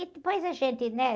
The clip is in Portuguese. E depois a gente, né?